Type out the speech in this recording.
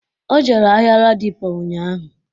O jere ahịa Ladipo ụnyaahụ